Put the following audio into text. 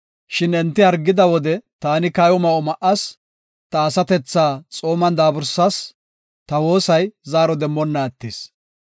Shin enti hargida wode taani kayo ma7o ma7as; ta asatethaa xooman daabursas; ta woosay zaaro demmonna attis.